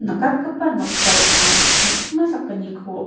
nikatgipa noksao anga me·chikma sakgniko--